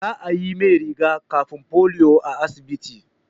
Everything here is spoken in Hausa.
Za a yi mai riga-kafin polio a asibiti.